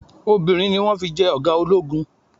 Obìnrin ni wọn fi jẹ́ ọ̀gá ológun.